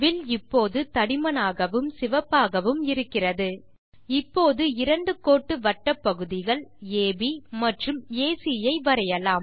will இப்போது தடிமனாகவும் சிவப்பாகவும் இருக்கிறது இப்போது இரண்டு கோட்டு வட்டப் பகுதிகள் அப் மற்றும் ஏசி ஐ வரையலாம்